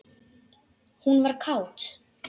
Hún var kát.